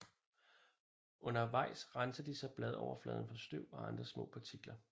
Undervejs renser de så bladoverfladen for støv og andre små partikler